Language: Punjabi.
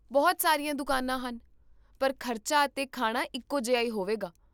ਬਹੁਤ ਸਾਰੀਆਂ ਦੁਕਾਨਾਂ ਹਨ, ਪਰ ਖ਼ਰਚਾ ਅਤੇ ਖਾਣਾ ਇੱਕੋ ਜਿਹਾ ਹੀ ਹੋਵੇਗਾ